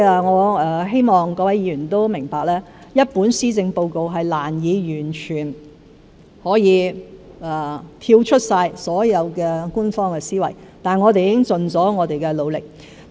我希望各位議員明白，一份施政報告難以完全跳出所有官方思維，但我們已經盡了努力。